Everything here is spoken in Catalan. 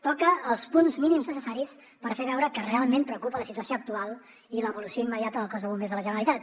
toca els punts mínims necessaris per fer veure que realment preocupa la situació actual i l’evolució immediata del cos de bombers de la generalitat